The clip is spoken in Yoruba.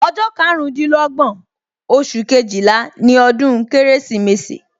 Ọjọ́ karundinlogbon oṣù Kejìlá ni ọdún Kérésìmesì